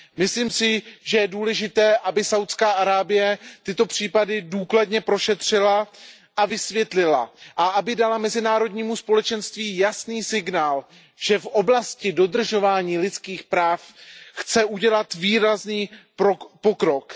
Myslím si, že je důležité, aby Saúdská Arábie tyto případy důkladně prošetřila a vysvětlila a aby dala mezinárodnímu společenství jasný signál, že v oblasti dodržování lidských práv chce udělat výrazný pokrok.